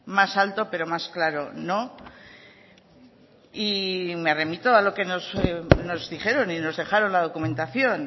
más alto pero más claro no y me remito a lo que nos dijeron y nos dejaron la documentación